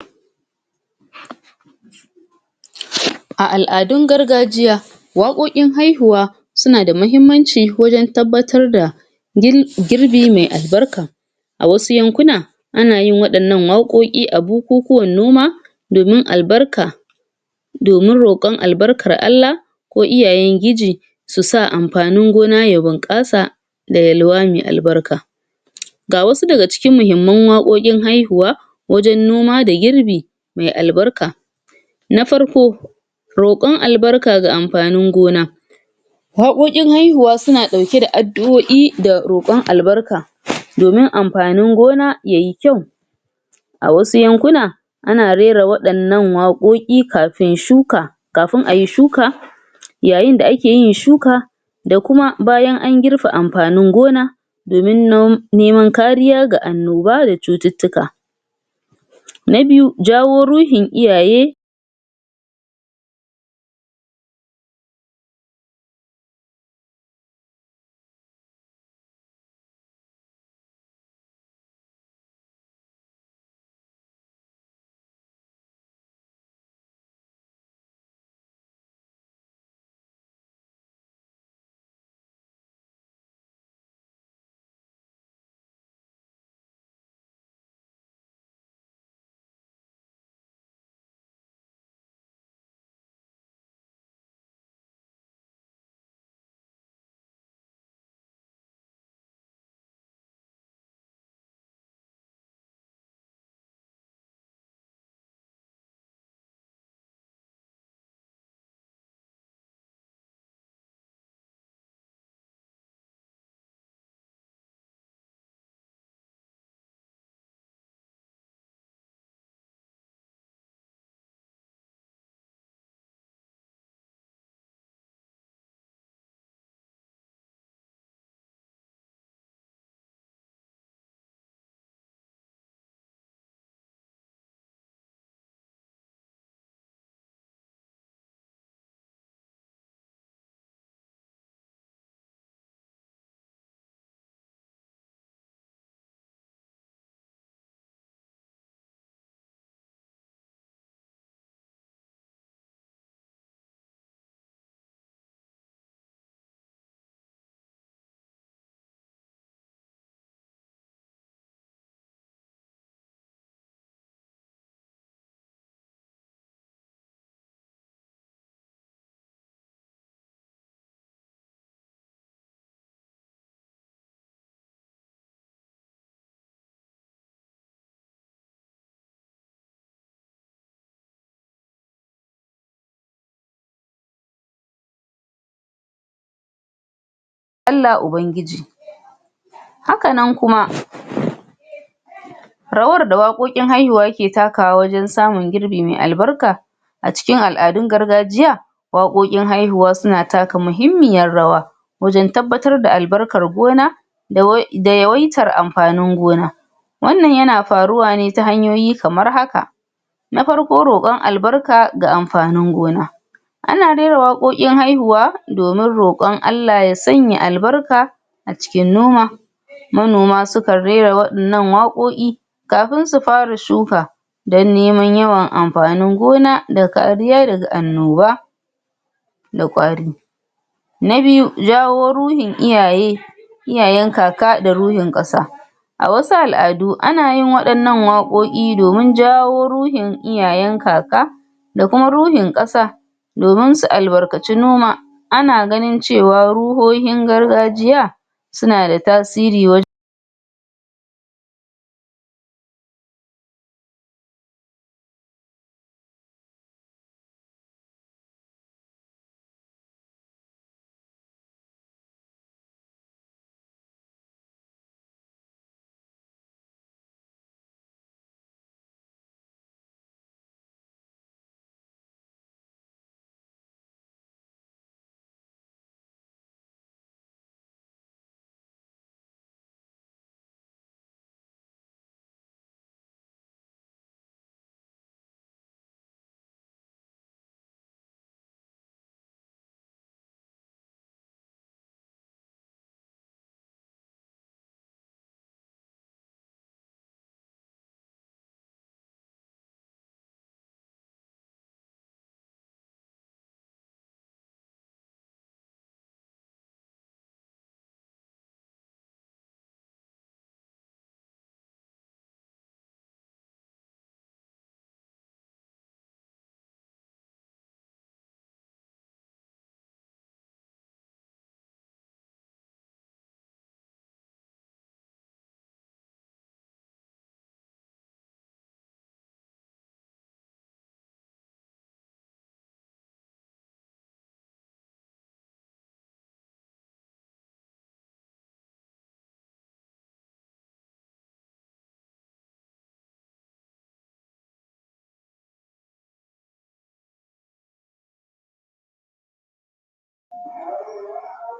a al'adun gargajiya waƙoƙin haihuwa sunada mahimmanci wajen tabbatar da girbi mai al'barka a wasu yankuna ana yin waɗannan waƙoƙi a bukukuwan noma domin al'barka domin roƙon al'barkar ALLAH ko iyayen giji su sa anfanin gona ya bunƙasa da yalwa mai al'barka ga wasu daga cikin mahimman waƙoƙin haihuwa wajan noma da girbi maial'barka na darko roƙon al'barka ga anfanin gona waƙoƙin haihuwa suna ɗauke da roƙon albaka ]?] domin anfanin gona yayi kyau a wasu yankuna ana rera waɗannan waƙoƙi kafin shuka kafin ayi shuka yayin da ake yin shuka da kuma bayan an girbe anfanin gona domin nom neman kariya da annoba da cututtuka na biyu jawo ruhin iyaye